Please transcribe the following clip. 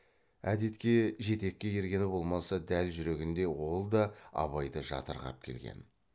әдетке жетекке ергені болмаса дәл жүрегінде ол да абайды жатырқап келген